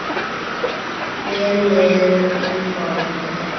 Hellið í formið.